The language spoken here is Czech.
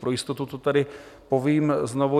Pro jistotu to tady povím znovu.